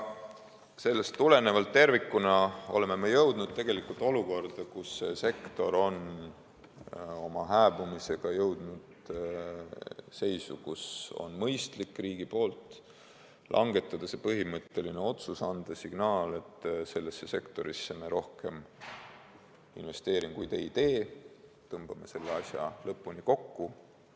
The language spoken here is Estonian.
Sellest tulenevalt oleme tervikuna jõudnud olukorda, kus sektor on oma hääbumisega jõudnud seisu, kus riigil on mõistlik langetada põhimõtteline otsus, anda signaal, et sellesse sektorisse me rohkem investeeringuid ei tee, tõmbame selle asja lõpuni kokku.